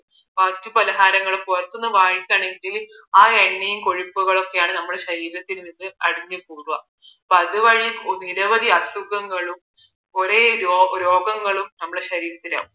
മറ്റ് പലഹാരങ്ങളോ പുറത്ത് നിന്ന് വാങ്ങിക്കുകയാണെങ്കിൽ ആ എണ്ണയും കൊഴുപ്പുമെല്ലാമാണ് നമ്മുടെ ശരീരത്തിൽ അടിഞ്ഞ് കൂടുന്നത് അപ്പോ അത് വഴി നിരവധി അസുഖങ്ങളും കുറെ രോഗങ്ങളും നമ്മുടെ ശരീരത്തിൽ